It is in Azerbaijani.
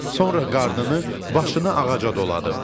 Sonra qarnını, başını ağaca doladım.